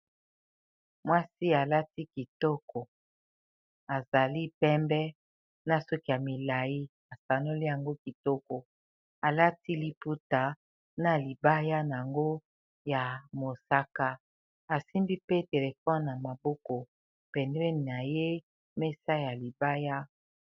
Mwasi a lati kitoko a zali pembe na suki ya milayi, a sanoli yango kitoko a lati liputa na libaya na yango ya mosak, a asimbi pe telephone na maboko pembeni na ye, mesa ya libaya .